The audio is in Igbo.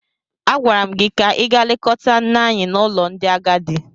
Agwara m gị ka ị gaa lekọta nne anyị n’ụlọ ndị agadi!